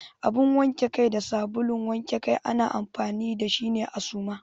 Abin wanke Kai da sabulun wanke Kai ana amfani da shi ne a Suma.